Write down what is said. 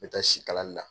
N bɛ taa sikali na